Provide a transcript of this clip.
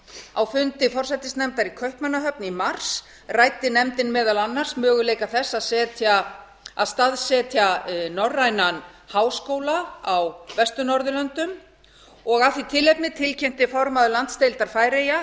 á fundi forsætisnefndar í kaupmannahöfn í mars ræddi nefndin meðal annars möguleika þess að staðsetja norrænan háskóla á vestur norðurlöndum af því tilefni tilkynnti formaður landsdeildar færeyja